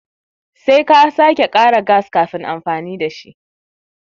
Sai ka sake kara gas kafin amfani da shi.